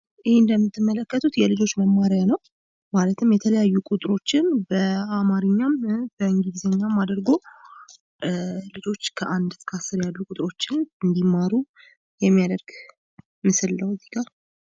ይህ እንደምትመለከቱት የልጆች መማሪያ ነው። ማለትም የተለያዩ ቁጥሮችን በአማርኛም እና በእንግሊዝኛም አድርጎ ልጆች አንድ እስከ አስር ያሉ ቁጥሮችን እንዲማሩ የሚያደርግ ነው።